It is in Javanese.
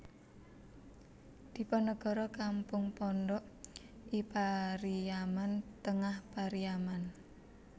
Diponegoro Kampung Pondok I Pariaman Tengah Pariaman